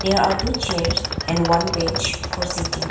there are two chairs and one bench for sitting.